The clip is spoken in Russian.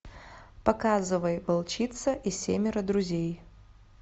показывай волчица и семеро друзей